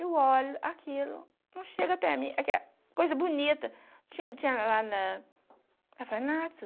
Eu olho aquilo, não chega até aquela coisa bonita que tinha tinha lá na orfanato